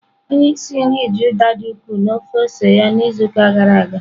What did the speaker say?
Onye isi nri ji Uda dị ukwuu na ofe ose ya n'izuụka gara aga.